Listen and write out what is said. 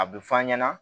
A bɛ f'an ɲɛna